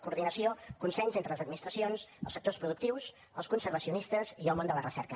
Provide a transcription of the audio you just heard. coordinació consens entre les administracions els sectors productius els conservacionistes i el món de la recerca